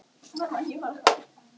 Nú var hann búinn að hita kaffi.